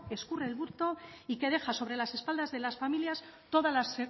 escurre el bulto y que deja sobre las espaldas de las familias todas las